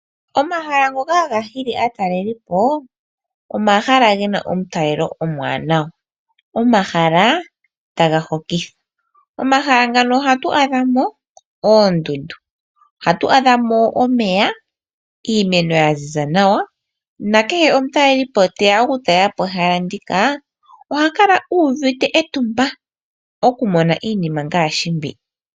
Omahala ngoka haga hili aataleli po omahala gena omutalelo omwaanawa, omahala taga hokitha. Momahala ngano ohatu adha mo oondundu, ohatu adha mo omeya, iimeno ya ziza nawa, nakehe omutaleli po teya oku talela po ehala ndika ohaka la uuvite etumba oku mona iinima mbi.